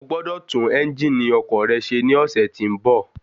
Ogbọ́dọ̀ tún ẹ́njìnì ọkọ̀ rẹ ṣe ní ọ̀sẹ̀ tí bọ̀.